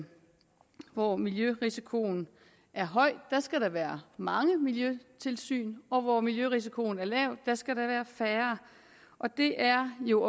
hvor miljørisikoen er høj skal der være mange miljøtilsyn og hvor miljørisikoen er lav skal der være færre og det er jo